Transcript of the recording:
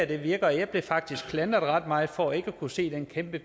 det virker jeg blev faktisk klandret ret meget for ikke at kunne se den kæmpe